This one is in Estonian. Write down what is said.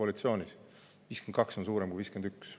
52 on suurem kui 51.